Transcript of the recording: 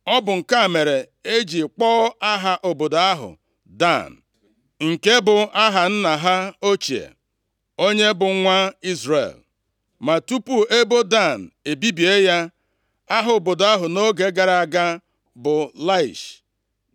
Ọ bụ nke a mere e ji kpọọ aha obodo ahụ Dan, nke bụ aha nna ha ochie, onye bụ nwa Izrel. Ma tupu ebo Dan ebibie ya, aha obodo a nʼoge gara aga bụ Laish.